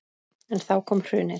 En þá kom hrunið.